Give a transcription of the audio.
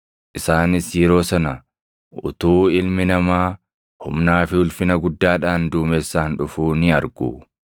Isaanis yeroo sana utuu Ilmi Namaa humnaa fi ulfina guddaadhaan duumessaan dhufuu ni argu.